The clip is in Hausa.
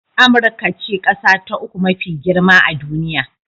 Amurka ce ƙasa ta uku mafi girma a duniya